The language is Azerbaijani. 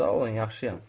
Sağ olun, yaxşıyam.